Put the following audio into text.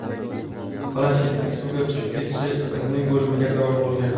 Planshetning suvga tushib ketishi qizning o‘limiga sabab bo‘lgan.